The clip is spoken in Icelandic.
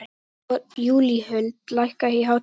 Júlíhuld, lækkaðu í hátalaranum.